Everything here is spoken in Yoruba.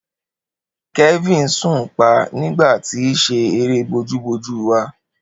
Kelvin sùn pa nigba ti se ere boju-boju wá.